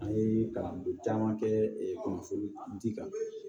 An ye kalanden caman kɛ kunnafoni di kan